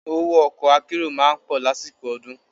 Owó ọkọ̀ akérò máa ń pọ̀ lásìkò ọdún.